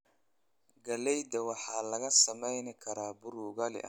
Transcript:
Galleyda waxaa laga sameyn karaa bur ugali ah.